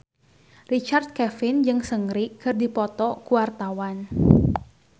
Richard Kevin jeung Seungri keur dipoto ku wartawan